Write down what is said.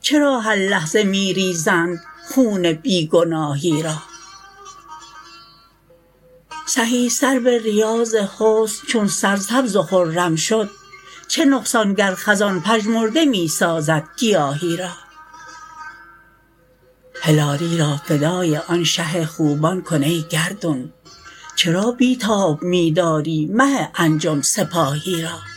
چرا هر لحظه می ریزند خون بی گناهی را سهی سرو ریاض حسن چون سر سبز و خرم شد چه نقصان گر خزان پژمرده می سازد گیاهی را هلالی را فدای آن شه خوبان کن ای گردون چرا بی تاب میداری مه انجم سپاهی را